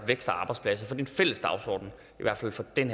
vækst og arbejdspladser for en fælles dagsorden i hvert fald for den